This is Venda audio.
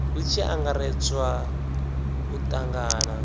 hu tshi angaredzwa u tangana